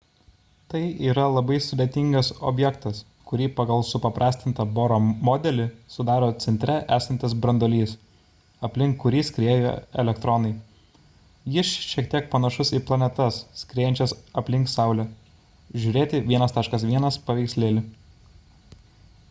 tai yra labai sudėtingas objektas kurį pagal supaprastintą boro modelį sudaro centre esantis branduolys aplink kurį skrieja elektronai jis šiek tiek panašus į planetas skriejančias aplink saulę – žr 1.1 pav